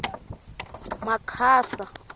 makhasa